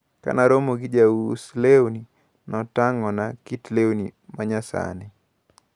Kanaromo gi jaus lewni, notang`ona kit lewni manyasani.